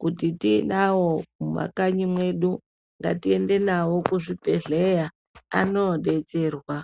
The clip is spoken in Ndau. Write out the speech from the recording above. Kuti tiinawo mumakanyi mwedu ngatiende nawo kuzvibhedhlera anoodetserwa.